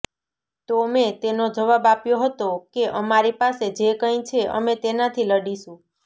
તો મેં તેનો જવાબ આપ્યો હતો કે અમારી પાસે જે કઈ છે અમે તેનાથી લડીશું